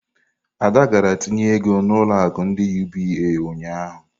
Ada gara tinye ego na ulo akụ ndi UBA ụnyahụ.